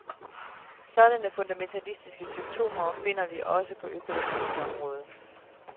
Sådanne fundamentalistiske symptomer finder vi også på økologiens område.